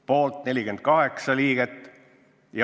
Poolt 48 liiget.